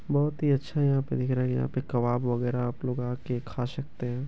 बहोत ही अच्छा यहाँ पे दिख रहा है। यहां पर कबाब वगैरा आपलोग आकर खा सकते हैं।